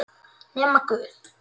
Nema guð.